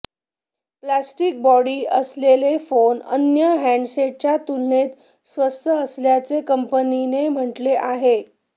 plastic body असलेले हे phone अन्य हँडसेटच्या तुलनेत स्वस्त असल्याचे कंपनीने म्हटले आहे